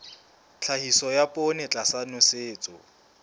tlhahiso ya poone tlasa nosetso